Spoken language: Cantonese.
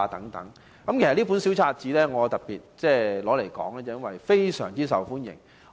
我特別提述這本小冊子，因為它非常受歡迎。